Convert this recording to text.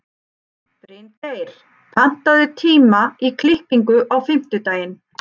Bryngeir, pantaðu tíma í klippingu á fimmtudaginn.